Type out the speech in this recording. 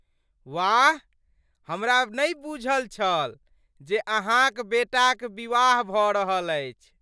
वाह! हमरा नहि बूझल छल जे अहाँक बेटाक विवाह भऽ रहल अछि।